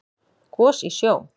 Gos í sjó